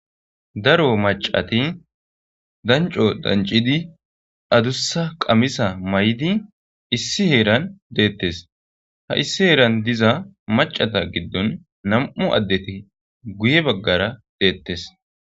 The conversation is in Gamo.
Daro maccati dancco danccidi adussa qamisa mayidi issi detees ha issi heera diza maccata giddon nam'u addeti guye baggara dettees.